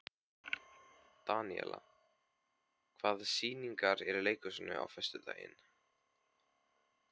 Daníela, hvaða sýningar eru í leikhúsinu á föstudaginn?